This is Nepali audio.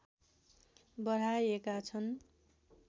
बढाएका छन्